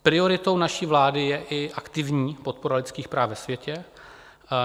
Prioritou naší vlády je i aktivní podpora lidských práv ve světě.